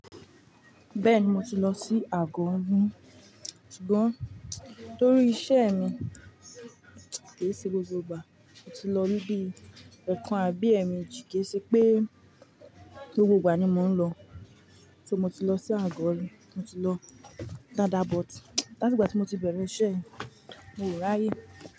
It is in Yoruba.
Bẹ́ẹ̀ni mo ti lọ sí Àgọ́ òun, ṣùgbọ́n torí iṣẹ́ mi kì í ṣe gbogbo ìgbà. Mo ti lọ níbí eekan àbí ẹ́ẹ̀meji, kì í ṣe pé gbogbo ìgbà ni mò ń lọ. Tí mo ti lọ sí Àgọ́ òun, mo ti lọ Dada but láti ìgbà tí mo ti bẹ̀rẹ̀ iṣẹ́ yìí, mo ò ráyè.